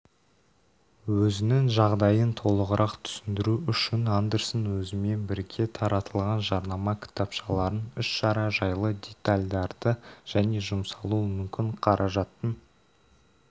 өзінің жағдайын толығырақ түсіндіру үшін андерсон өзімен бірге таратылған жарнама кітапшаларын іс-шара жайлы детальдарды және жұмсалуы мүмкін қаражаттың